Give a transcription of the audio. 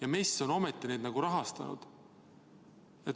MES on ometi neid rahastanud.